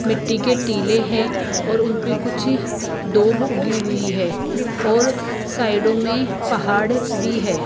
मिट्टी के टिले हैं और उनपे कुछ दोब उगी हुई है और साइडों में पहाड़ बी है।